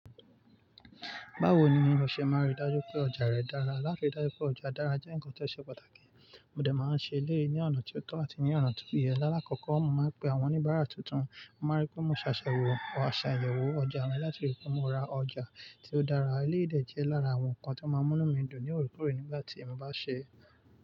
Bawo ni o ṣe máa rí dájú pé ọjà rẹ dára? Látí rí dájú pé ọjà dára jẹ́ nǹkan tó ṣe pàtàkì. Mo dẹ̀ máa ń ṣe léyì ní ọ̀nà tó tọ́ àti ní ọ̀nà tó ìyẹ́. Láàlákọ́kọ́, mo máa ń pe àwọn oníbàárà tuntun, mo máa rí pé mo ṣàṣà wò, àṣàyẹ̀wò ọjà mi láti rí pé mo ra ọjà tí ó dára. Léyì dẹ̀ jẹ́ lára àwọn ǹkan tí ó máa mú mí dùn ní òrékoore nígbà tí mo bá sè é.